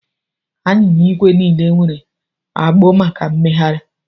Anyịnya igwe niile nwere agbụ maka mmegharị